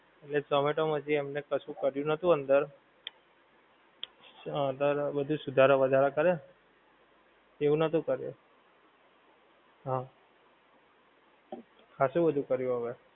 એટલે zomato માંથી એમને કશું કર્યું નતું અંદર, હા અત્યારે બધું સુધારું વધારા કરે, તેવું નતો કરીયો હા, હાચો વધું કરીયો હવે